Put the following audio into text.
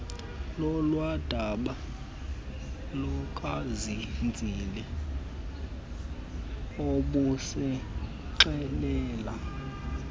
lolwadaba lukazenzile ubusixelela